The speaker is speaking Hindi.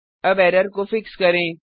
अब एरर को फिक्स करें